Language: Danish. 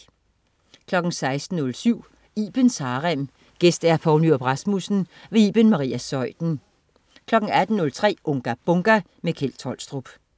16.07 Ibens Harem. Gæst: Poul Nyrup Rasmussen. Iben Maria Zeuthen 18.03 Unga Bunga! Kjeld Tolstrup